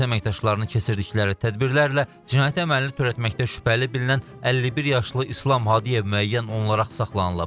Polis əməkdaşlarını keçirdikləri tədbirlərlə cinayəti əməlini törətməkdə şübhəli bilinən 51 yaşlı İslam Hadiyev müəyyən olunaraq saxlanılıb.